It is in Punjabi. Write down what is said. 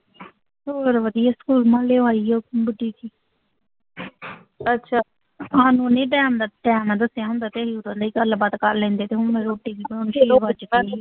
ਹੋਰ ਵਧੀਆ ਆਈ ਆ ਵੱਡੀ ਟਾਈਮ ਨਾਲ, ਟਾਈਮ ਨਾਲ ਦੱਸਿਆ ਹੁੰਦਾ ਤੇ ਉਹ ਕਹਿੰਦੇ ਗੱਲਬਾਤ ਕਰ ਲੈਂਦੇ ਤੇ ਹੁਣ ਮੈਂ ਰੋਟੀ ਵੀ ਪਕਾਉਣੀ ਛੇ ਵੱਜ ਗਏ।